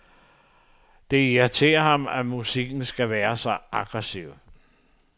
Det irriterer ham, at musikken skal være så aggressiv.